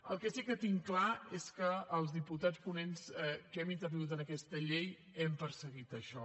el que sí que tinc clar es que els diputats ponents que hem intervingut en aquesta llei hem perseguit això